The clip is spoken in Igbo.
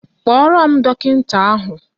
Kpọọrọ m dọkịnta ahụ!